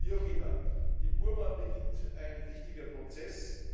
Wie auch immer, in Burma beginnt ein wichtiger Prozess.